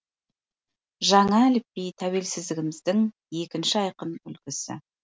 жаңа әліпби тәуелсіздігіміздің екінші айқын үлгісі